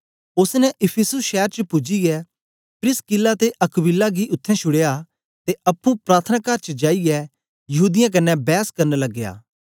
ओसने इफिसुस शैर च पूजियै प्रिसकिल्ला ते अक्विला गी उत्थें शुड़या ते अप्पुं प्रार्थनाकार च जाईयै यहूदीयें कन्ने बैस करना लगया